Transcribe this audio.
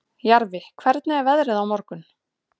Jarfi, hvernig er veðrið á morgun?